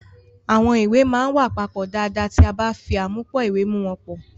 Àwọn ìwé máa ń wà papọ̀ dáadáa ti a ba fi afimupo iwe mu won po.